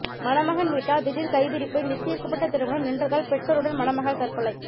மணமகன் வீட்டார் திடீர் கைவிரிப்பு நிச்சயிக்கப்பட்ட திருமணம் நின்றதால் பெற்றோருடன் மணமகள் தற்கொலை